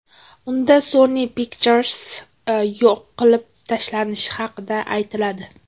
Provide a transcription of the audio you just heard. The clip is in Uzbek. Unda Sony Pictures yo‘q qilib tashlanishi haqida aytiladi.